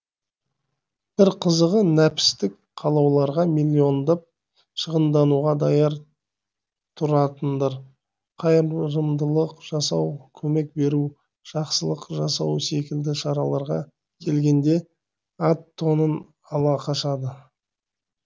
бір қызығы нәпістік қалауларға миллиондап шығындануға даяр тұратындар қайырымдылық жасау көмек беру жақсылық жасау секілді шараларға келгенде ат тонын ала қашады